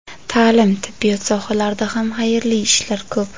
Ta’lim, tibbiyot sohalarida ham xayrli ishlar ko‘p.